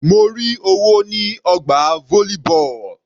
Mo rí owó ní ọgbà volleyball.